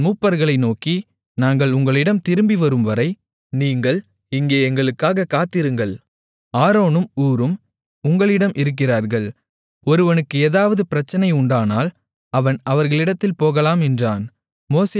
அவன் மூப்பர்களை நோக்கி நாங்கள் உங்களிடம் திரும்பிவரும்வரை நீங்கள் இங்கே எங்களுக்காகக் காத்திருங்கள் ஆரோனும் ஊரும் உங்களிடம் இருக்கிறார்கள் ஒருவனுக்கு ஏதாவது பிரச்சனை உண்டானால் அவன் அவர்களிடத்தில் போகலாம் என்றான்